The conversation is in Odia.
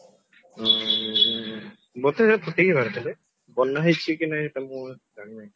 ଆଁ ବୋଧେ ଫୁଟିକି ବାହାରିଥିଲେ ବନାହେଇଛି କି ନାହି ତାଙ୍କୁ ଜାଣିନି